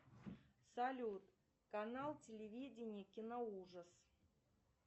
салют канал телевидение киноужас